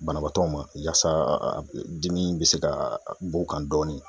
Banabaatɔ ma yasa dimi be se ka bɔ o kan dɔɔni.